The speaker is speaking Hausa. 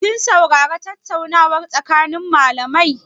Kin saurari tattaunawar tsakanin malamai?